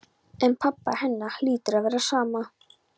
En pabba hennar hlýtur að vera sama.